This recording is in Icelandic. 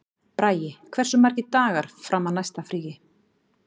Bragi, hversu margir dagar fram að næsta fríi?